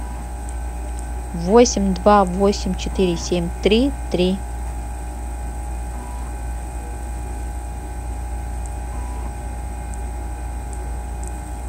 восемь два восемь четыре семь три три